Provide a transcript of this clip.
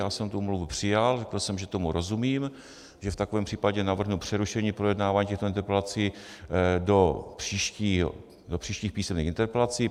Já jsem tu omluvu přijal, řekl jsem, že tomu rozumím, že v takovém případě navrhnu přerušení projednávání těchto interpelací do příštích písemných interpelací.